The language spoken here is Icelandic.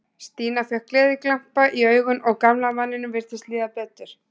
Stína fékk gleðiglampa í augun og gamla manninum virtist líða betur.